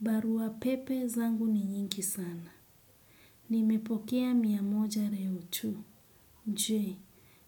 Barua pepe zangu ni nyingi sana. Nimepokea mia moja reo tu. Njwe,